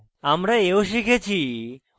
আমরা we শিখেছি